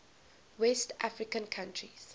west african countries